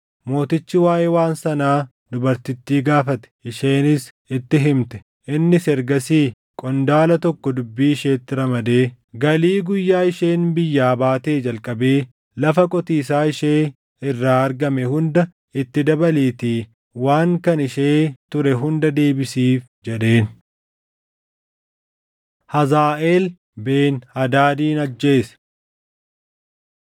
Mootichi waaʼee waan sanaa dubartittii gaafate; isheenis itti himte. Innis ergasii qondaala tokko dubbii isheetti ramadee, “Galii guyyaa isheen biyyaa baatee jalqabee lafa qotiisaa ishee irraa argame hunda itti dabaliitii waan kan ishee ture hunda deebisiif” jedheen. Hazaaʼeel Ben-Hadaadin Ajjeese